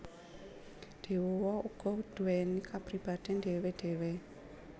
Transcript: Dewa uga duweni kapribaden dhéwé dhéwé